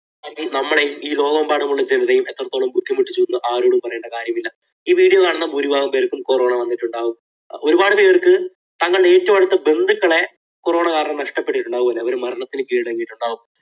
നമ്മൾ ഈ ലോകമെമ്പാടുമുള്ള ജനതയെ എത്രത്തോളം ബുദ്ധിമുട്ടിച്ചു എന്ന് ആരോടും പറയേണ്ട കാര്യമില്ല. ഈ video കാണുന്ന ഭൂരിഭാഗം പേർക്കും corona വന്നിട്ടുണ്ടാകും. ഒരുപാടു പേർക്ക് തങ്ങളുടെ ഏറ്റവും അടുത്ത ബന്ധുക്കളെ corona കാരണം നഷ്ടപ്പെട്ടിട്ടുണ്ടാകും. അവർ മരണത്തിന് കീഴടങ്ങിയിട്ടുണ്ടാകും.